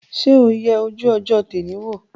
Ṣé o yẹ ojú ọjọ́ tẹ́nì wò?